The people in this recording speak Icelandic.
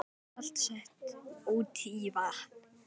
Salt sett út í vatn